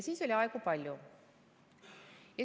Siis oli aegu palju.